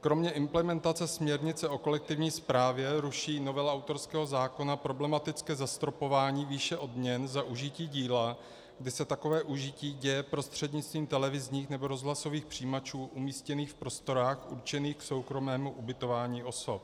Kromě implementace směrnice o kolektivní správě ruší novela autorského zákona problematické zastropování výše odměn za užití díla, kdy se takové užití děje prostřednictvím televizních nebo rozhlasových přijímačů umístěných v prostorách určených k soukromému ubytování osob.